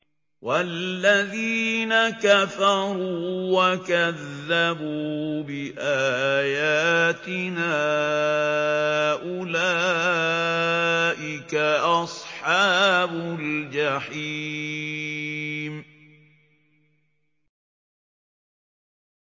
وَالَّذِينَ كَفَرُوا وَكَذَّبُوا بِآيَاتِنَا أُولَٰئِكَ أَصْحَابُ الْجَحِيمِ